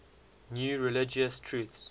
new religious truths